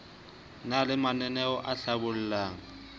na le mananaeo a hlabollang